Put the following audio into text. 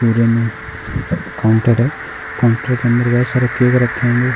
पूरे में काउंटर है। काउंटर के अंदर बहोत सारे केक रखे हेंगे।